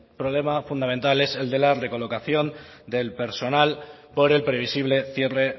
problema fundamental es el de la recolocación del personal por el previsible cierre